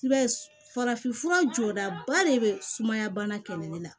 I b'a ye farafin fura jɔdaba de be sumaya bana kɛlɛlen na